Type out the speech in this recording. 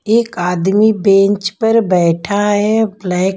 एक आदमी बेंच पर बैठा है ब्लैक --